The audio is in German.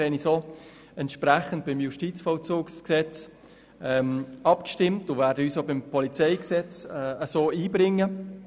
Wir haben dementsprechend auch beim Justizvollzugsgesetz abgestimmt und werden uns auch beim Polizeigesetz in derselben Art einbringen.